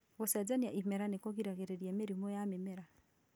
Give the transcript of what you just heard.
Gũcenjania imera nĩ kũgiragĩrĩria mĩrimũ ya mĩmera